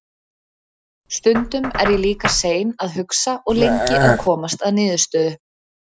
Stundum er ég líka sein að hugsa og lengi að komast að niðurstöðu.